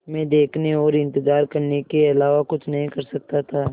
मैं देखने और इन्तज़ार करने के अलावा कुछ नहीं कर सकता था